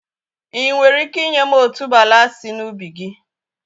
Ị́ nwere ike ị́nye m otuboala sị na ubi gị?